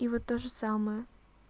и вот тоже самое